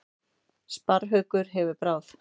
Sparrhaukur með bráð.